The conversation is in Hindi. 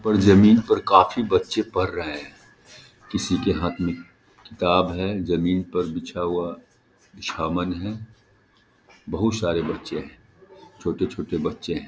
और जमीन पर काफी बच्चे पढ़ रहे हैं किसी के हाथ में किताब है जमीन पर बिछा हुआ सामान है बहुत सारे बच्चे हैं छोटे-छोटे बच्चे हैं ।